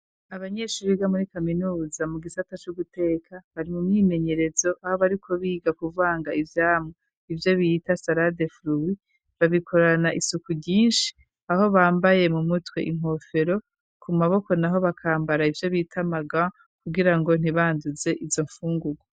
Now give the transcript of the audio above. Abanyeshure ga muri kaminuza mu gisata c'uguteka bari mu mwimenyerezo aho bariko biga kuvanga ibyamu ibyo biyita sara de fluis babikorana isuku ryinshi aho bambaye mu mutwe inkofero ku maboko naho bakambara ibyo bitamaga kugira ngo ntibanduze izo mfungugwa